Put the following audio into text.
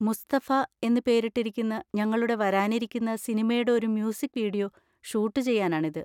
മുസ്തഫ' എന്ന് പേരിട്ടിരിക്കുന്ന ഞങ്ങളുടെ വരാനിരിക്കുന്ന സിനിമയുടെ ഒരു മ്യൂസിക് വീഡിയോ ഷൂട്ട് ചെയ്യാനാണിത്.